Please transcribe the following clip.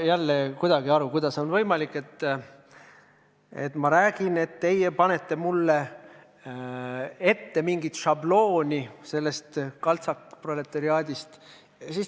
Ma ei saa aru, kuidas on võimalik, et te panete mulle suhu mingi kaltsakproletariaadi šablooni!